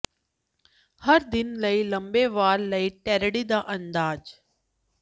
ਹਰ ਦਿਨ ਲਈ ਲੰਬੇ ਵਾਲ ਲਈ ਟਰੈਡੀ ਦਾ ਅੰਦਾਜ਼